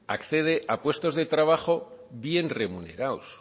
accede a puestos de trabajo bien remunerados